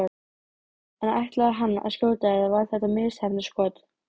En ætlaði hann að skjóta eða var þetta misheppnað skot?